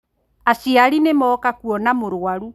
Aciari nĩ moka kũona mũrũaru